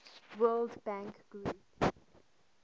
world bank group